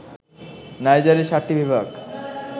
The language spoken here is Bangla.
নাইজারে ৭টি বিভাগ